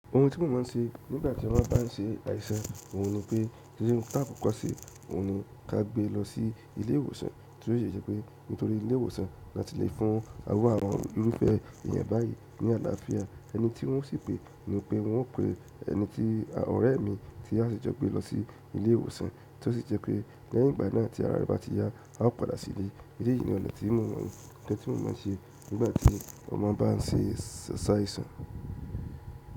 Ohun tí mo mò ń ṣe nígbà tí wọ́n bá ń ṣe àìsàn, òhun ni pé tí irun bá pọ́kàsí, òhun ni kí a gbé lọ sí ilé ìwòsàn, tí ó sì jẹ́ pé nítorí ilé ìwòsàn ni a ti le fún àwọn irúfẹ́ èèyàn báyìí ní àlàáfíà ẹni tí wọ́n sì pé ni pé wọ́n pe ẹni tí ọ̀rẹ́ mi tí a si jo gbe lọ sí ilé ìwòsàn tí ó sì jẹ́ pé lẹ́yìn ìgbà náà tí ara rẹ̀ bá ti yá, a ó padà sílé. Èleyìí ni ọ̀nà tí mò mọ̀ mọ̀, ohun tí mò ń ṣe nígbà tí ọmọ bá ń ṣe asàìsàn.